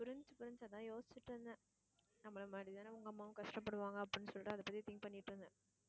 புரிஞ்சுது புரிஞ்சுது அதான் யோசிச்சுட்டு இருந்தேன் நம்மள மாதிரிதான உங்க அம்மாவும் கஷ்டப்படுவாங்க அப்பிடின்னு சொல்லிட்டு அத பத்தி think பண்ணிட்டு இருந்தேன்